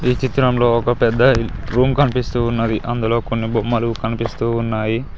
ఈ చిత్రంలో ఒక పెద్ద రూమ్ కనిపిస్తూ ఉన్నది అందులో కొన్ని బొమ్మలు కనిపిస్తూ ఉన్నాయి.